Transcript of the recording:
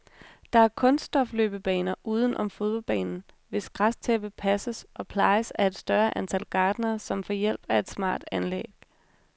Der er kunststofløbebaner uden om fodboldbanen, hvis græstæppe passes og plejes af et større antal gartnere, som får hjælp af et smart anlæg.